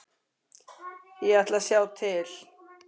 Ég ætla að sjá til.